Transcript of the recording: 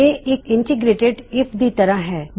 ਇਹ ਇੱਕ integrated IF ਦੀ ਤਰ੍ਹਾ ਹੈ